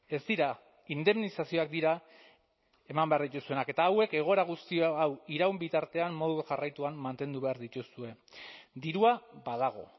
ez dira indemnizazioak dira eman behar dituzuenak eta hauek egoera guzti hau iraun bitartean modu jarraituan mantendu behar dituzue dirua badago